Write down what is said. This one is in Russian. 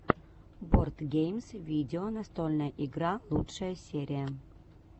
бордгеймс видео настольная игра лучшая серия